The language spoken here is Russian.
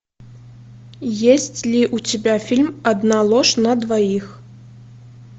есть ли у тебя фильм одна ложь на двоих